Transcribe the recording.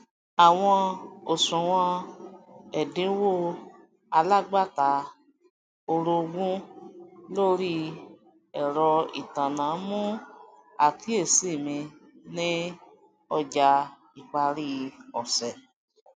àwọn òṣùwòn ẹdínwó alágbàtà orogún lórí ẹrọ ìtanná mú àkíyèsí mi ní ọjà ìparí ọsẹ